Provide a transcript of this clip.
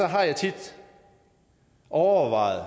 har jeg tit overvejet